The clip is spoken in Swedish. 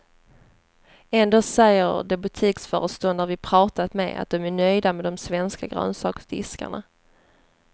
Ändå säger de butiksföreståndare vi pratat med att de är nöjda med de svenska grönsaksdiskarna.